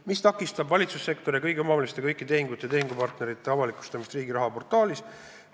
"Mis takistab valitsussektori ja kõigi omavalitsuste kõikide tehingute ja tehingupartnerite avalikustamist Riigiraha portaalis?